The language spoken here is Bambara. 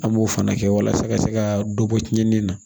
An b'o fana kɛ walasa ka se ka dɔ bɔ tiɲɛni na